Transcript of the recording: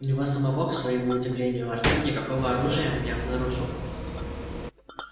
у него самого к своему удивлению артём никакого оружия не обнаружил